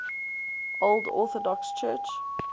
old orthodox church